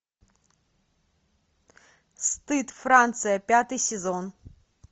стыд франция пятый сезон